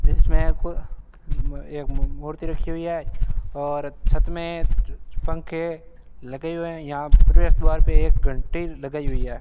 जिसमें कुल एक म मूर्ति रखी हुई है और छत में पंखे लगे हुए है यहां प्रवेश द्वार पे एक घंटी लगाई हुई है।